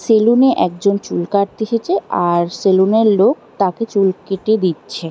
সেলুনে একজন চুল কাটতে এসেছে। আর সেলুনের লোক তাকে চুল কেটে দিচ্ছে ।